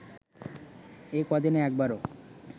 এ ক’দিনে একবারও